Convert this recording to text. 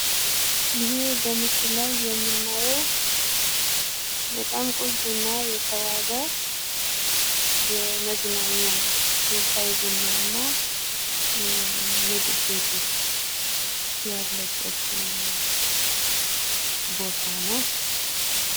ይሄ በምስሉ ላይ የምናየው በጣም ቆንጆና የተዋበ የመዝናኛ የሻይ ቡናና ምግብ ቤቶች ያለበት ቦታ ነው።